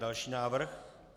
Další návrh.